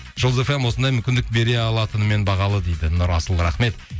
жұлдыз фм осындай мүмкіндік бере алатынымен бағалы дейді нұрасыл рахмет